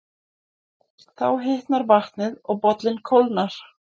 Þá hitnar vatnið og bollinn kólnar.